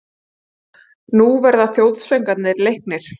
Nú verða þjóðsöngvarnir leiknir.